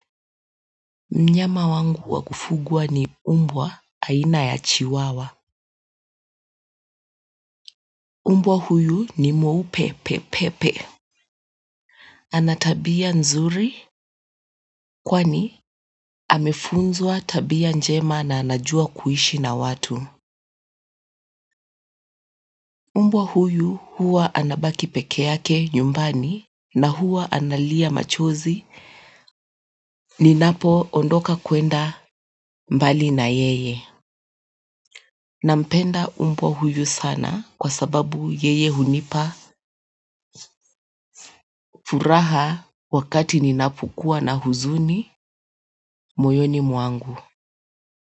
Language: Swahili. Mnyama wangu wa kufugwa ni mbwa aina ya chiwawa mbwa huyu ni mweupe pepepe ana tabia nzuri kwani amefunzwa tabia njema na anajua kuishi na watu mbwa huyu huwa anabaki peke yake nyumbani na huwa analia machozi. Ninapoondoka kwenda mbali na yeye nampenda mbwa huyu sana kwa sababu yeye hunipa furaha wakati ninapokuwa na huzuni moyoni mwangu.